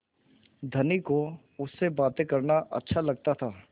धनी को उससे बातें करना अच्छा लगता था